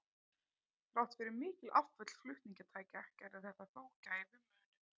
Þrátt fyrir mikil afföll flutningatækja gerði þetta þó gæfumuninn.